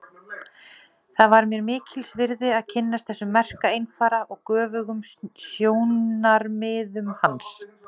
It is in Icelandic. Það var mér mikils virði að kynnast þessum merka einfara og göfugum sjónarmiðum hans.